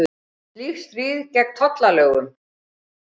Slíkt stríði gegn tollalögum